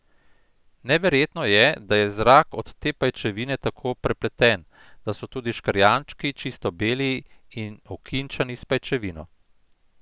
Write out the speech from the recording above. Neverjetno je, da je zrak od te pajčevine tako prepleten, da so tudi škrjančki čisto beli in okinčani s pajčevino.